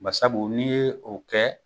Bari sabu n'i ye o kɛ,